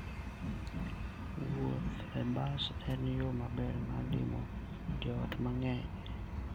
Wuoth e bas en yo maber mar limo joot mang'eny.